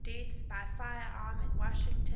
deaths by firearm in washington